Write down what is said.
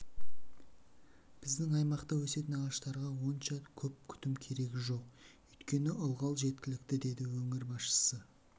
біздің аймақта өсетін ағаштарға онша көп күтім керегі жоқ өйткені ылғал жеткілікті деді өңір басшысы